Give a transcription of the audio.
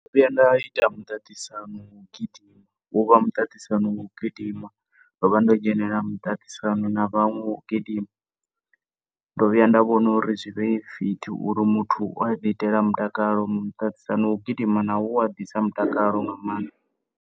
Ndo vhuya nda ita muṱaṱisano wa u gidima, wo vha muṱaṱisano wa u gidima, ndo vha nda dzhenelela muṱaṱisano na vhaṅwe wa u gidima. Ndo vha nda dzhenelela muṱaṱisano wa u gidima, ndo vhuya nda vhona uri zwivhe fit uri muthu u wa ḓi itela mutakalo ngori miṱaṱisano wa u gidima nawo u wa ḓisa mutakalo nga maanḓa.